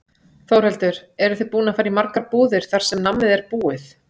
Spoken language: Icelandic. Þórhildur: Eru þið búin að fara í margar búðir þar sem nammið er búið?